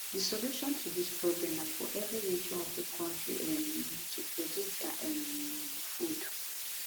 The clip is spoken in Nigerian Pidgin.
di solution to dis problem na for evri region of di kontri um to produce dia um food